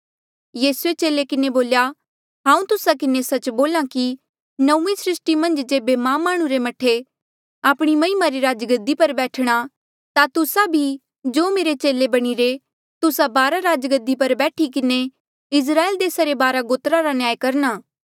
यीसूए चेले किन्हें बोल्या हांऊँ तुस्सा किन्हें सच्च बोल्हा कि नौंईं सृस्टी मन्झ जेबे मां माह्णुं रे मह्ठे आपणी महिमा री राजगद्दी पर बैठणा ता तुस्सा भी जो मेरे चेले बणिरे तुस्सा बारा राजगद्दी पर बैठी किन्हें इस्राएल देसा रे बारा गोत्रा रा न्याय करणा